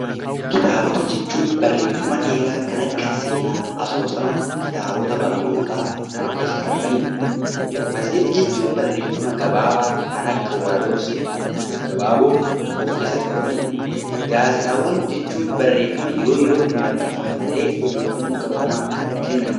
Kitaabota jechuun barreeffama dheeraa kan akka seenaa, asoosama, kitaabota barnootaa kan of keessatti qabatani dha. Matseetii jechuun barreeffama gabaabaa kan akka walaloo, seenaa gaggabaaboo of keessatti qabatani dha. Gaazexaawwan jechuun barreeffama yeroo yerootti maxxanfaman ta'ee, odeeffannoo qabatamaa kan kennani dha.